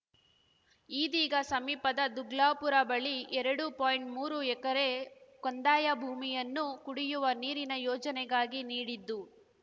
ಈದೀಗ ಸಮೀಪದ ದುಗ್ಲಾಪುರ ಬಳಿ ಎರಡು ಪಾಯಿಂಟ್ಮೂರು ಎಕರೆ ಕಂದಾಯ ಭೂಮಿಯನ್ನು ಕುಡಿಯುವ ನೀರಿನ ಯೋಜನೆಗಾಗಿ ನೀಡಿದ್ದು